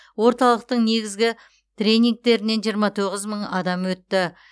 орталықтың негізгі тренингтерінен жиырма тоғыз мың адам өтті